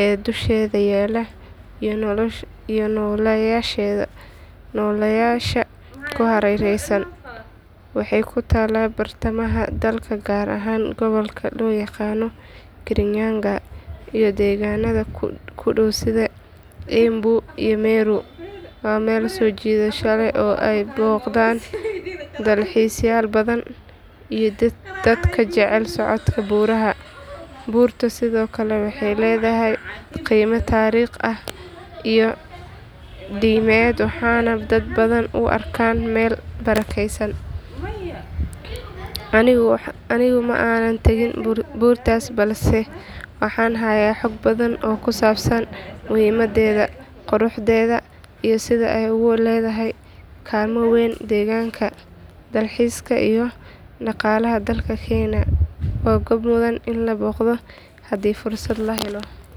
ee dusheeda yaalla iyo nooleyaasha ku hareeraysan. Waxay ku taallaa bartamaha dalka gaar ahaan gobolka loo yaqaan kirinyaga iyo deegaannada ku dhow sida embu iyo meru. Waa meel soo jiidasho leh oo ay booqdaan dalxiisayaal badan iyo dadka jecel socodka buuraha. Buurtu sidoo kale waxay leedahay qiime taariikhi ah iyo diimeed waxaana dad badan u arkaan meel barakeysan. Anigu ma aanan tegin buurtaas balse waxaan hayaa xog badan oo kusaabsan muhiimaddeeda, quruxdeeda iyo sida ay ugu leedahay kaalmo weyn deegaanka, dalxiiska iyo dhaqaalaha dalka kenya. Waa goob mudan in la booqdo haddii fursad la helo.